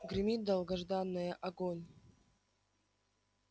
гремит долгожданное огонь